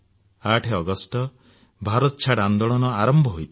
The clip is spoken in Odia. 8 ଅଗଷ୍ଟ ଭାରତ ଛାଡ ଆନ୍ଦୋଳନ ଆରମ୍ଭ ହୋଇଥିଲା